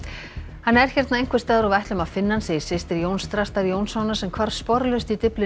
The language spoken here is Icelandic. hann er hérna einhvers staðar og við ætlum að finna hann segir systir Jóns Þrastar Jónssonar sem hvarf sporlaust í Dyflinni